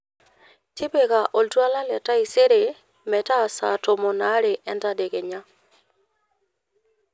tipika oltwala le taisere metaa saa tomon aare entadekenya